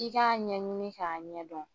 I k'a ɲɛɲini k'a ɲɛdɔn.